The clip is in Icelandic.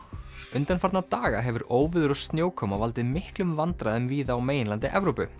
undanfarna daga hefur óveður og snjókoma valdið miklum vandræðum víða á meginlandi Evrópu